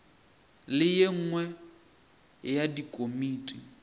le ye nngwe ya dikomiti